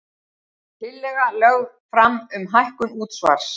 Tillaga lögð fram um hækkun útsvars